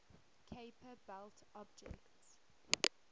kuiper belt objects